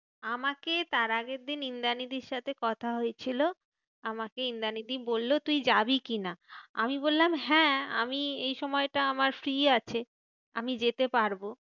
আমাকে তার আগের দিন ইন্দ্রানীদির সাথে কথা হয়ে ছিল, আমাকে ইন্দ্রানীদি বললো তুই যাবি কি না? আমি বললাম, হ্যাঁ আমি এই সময়টা আমার free আছে। আমি যেতে পারবো।